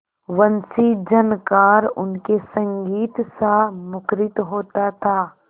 वंशीझनकार उनके संगीतसा मुखरित होता था